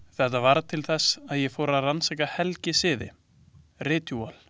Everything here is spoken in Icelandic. Þetta varð til þess að ég fór að rannsaka helgisiði, ritúöl.